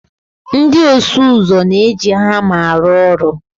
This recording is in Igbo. Ndị ọsụ ụzọ na-eji hama arụ ọrụ